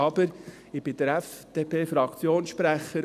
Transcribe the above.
Aber ich bin der FDP-Fraktionssprecher.